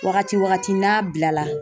Wagati wagati n'a bila la